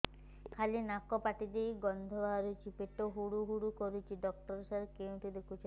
ଖାଲି ନାକ ପାଟି ଦେଇ ଗଂଧ ବାହାରୁଛି ପେଟ ହୁଡ଼ୁ ହୁଡ଼ୁ କରୁଛି ଡକ୍ଟର ସାର କେଉଁଠି ଦେଖୁଛନ୍ତ